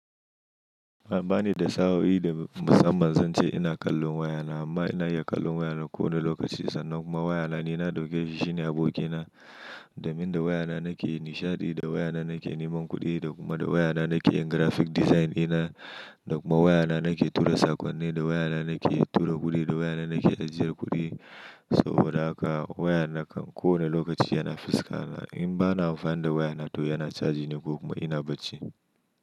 Banida sa'o'i da musamman zan ce ina kallon wayana amma ina iya kallon wayana ko wane lokaci sannan kuma wayana nina dauke shine abokina domin da wayana nake nishaɗi, da wayana nake neman kuɗi da kuma da wayana nake yin graphic design ina, da kuma wayana nake tura sakonni, da wayana nake tura kuɗi, da wayana nake ajiyar kuɗi. Saboda haka wayana kam ko wane lokaci yana fuska na. In bana amfani da wayana toh yana charging ne ko kuma ina bacci.